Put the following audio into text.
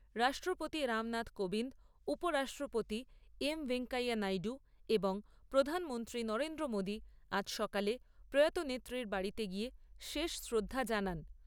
রাষ্ট্রপতি রামনাথ কোবিন্দ, উপরাষ্ট্রপতি এম ভেঙ্কাইয়া নাইডু এবং প্রধানমন্ত্রী নরেন্দ্র মোদী আজ সকালে প্রয়াত নেত্রীর বাড়িতে গিয়ে শেষ শ্রদ্ধা জানান।